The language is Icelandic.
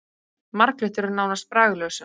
Marglyttur eru nánast bragðlausar.